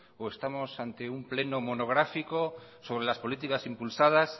o estamos ante un pleno monográfico sobre las políticas impulsadas